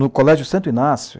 No Colégio Santo Inácio,